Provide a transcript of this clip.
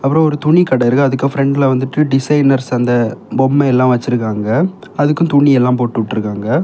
அப்புறம் ஒரு துணி கட இருக்கு அதுக்கும் பிரண்ட்ல வந்துட்டு டிசைனர்ஸ் அந்த பொம்மை எல்லாம் வச்சிருக்காங்க அதுக்கும் துணி எல்லாம் போட்டு விட்டு இருக்காங்க.